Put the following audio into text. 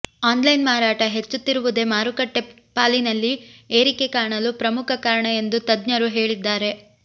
offline ಮಾರಾಟ ಹೆಚ್ಚುತ್ತಿರುವುದೇ ಮಾರುಕಟ್ಟೆ ಪಾಲಿನಲ್ಲಿ ಏರಿಕೆ ಕಾಣಲು ಪ್ರಮುಖ ಕಾರಣ ಎಂದು ತಜ್ಞರು ಹೇಳಿದ್ದಾರೆ